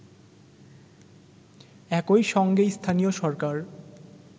একইসঙ্গে স্থানীয় সরকার